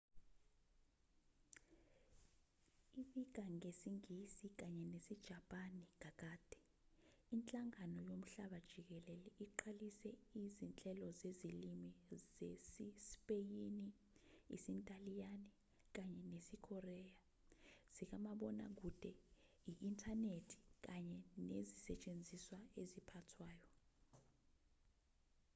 ibika ngesingisi kanye nesijapani kakade inhlangano yomhlaba jikelele iqalise izinhlelo zezilimi zesispeyini isintaliyane kanye nesikoreya zikamabonakude i-inthanethi kanye nezisetshenziswa eziphathwayo